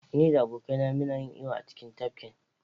Ni da abokaina muna yin iyo a cikin tafkin.